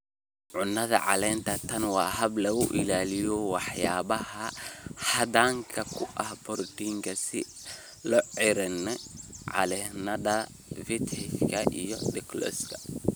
Cunnada Caleenta Tani waa hab lagu ilaaliyo waxyaabaha hodanka ku ah borotiinka sida lucerne, Calliandra, vetch, iyo Dolichos"